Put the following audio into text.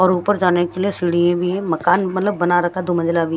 और ऊपर जाने के लिए सीढ़ी भी मकान मतलब बना रखा दो मंजिला में--